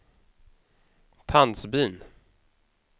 Tandsbyn